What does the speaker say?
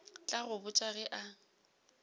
tla go botša ge a